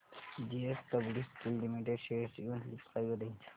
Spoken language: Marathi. जेएसडब्ल्यु स्टील लिमिटेड शेअर्स ची मंथली प्राइस रेंज